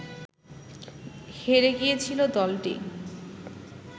হেরে গিয়েছিল দলটি